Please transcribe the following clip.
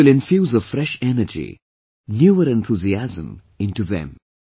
It will infuse afresh energy, newer enthusiasm into them